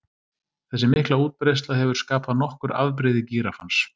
Þessi mikla útbreiðsla hefur skapað nokkur afbrigði gíraffans.